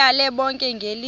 ndibayale bonke ngelithi